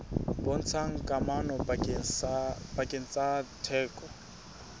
bontshang kamano pakeng tsa theko